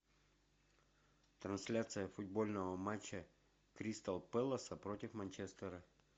трансляция футбольного матча кристал пэлас против манчестера